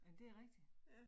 Men det rigtigt